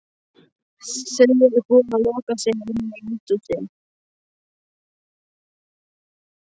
Þau eru búin að loka sig inni í eldhúsinu.